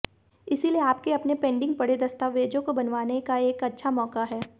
इसीलिए आपके अपने पेंडिंग पड़े दस्तावज़ों को बनवाने का एक अच्छा मौका है